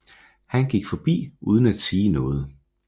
Han gik forbi uden at sige noget